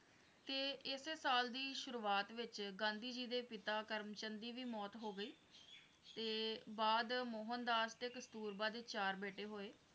ਤੇ ਏਸੇ ਸਾਲ ਦੀ ਸ਼ੁਰੂਆਤ ਵਿੱਚ ਗਾਂਧੀ ਜੀ ਦੇ ਪਿਤਾ ਕਰਮ ਚੰਦ ਦੀ ਵੀ ਮੌਤ ਹੋ ਗਈ ਤੇ ਬਾਅਦ ਮੋਹਨਦਾਸ ਤੇ ਕਸਤੁਰਬਾ ਦੇ ਚਾਰ ਬੇਟੇ ਹੋਏ।